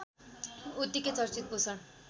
उत्तिकै चर्चित पोषण